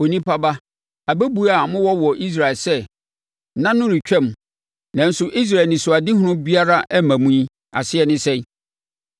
“Onipa ba, abɛbuo a mowɔ wɔ Israel sɛ, ‘Nna no retwam nanso Israel anisoadehunu biara mma mu’ yi, aseɛ ne sɛn?